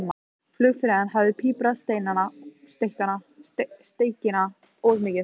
Flugfreyjan hafði piprað steikina of mikið.